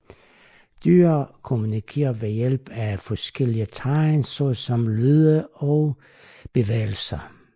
Dyr kommunikerer ved hjælp af forskellige tegn såsom lyde og bevægelser